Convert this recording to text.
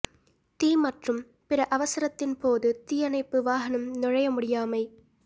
தீ மற்றும் பிற அவசரத்தின் போது தீயணைப்பு வாகனம் நுழைய முடியாமை